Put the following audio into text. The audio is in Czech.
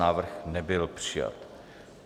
Návrh nebyl přijat.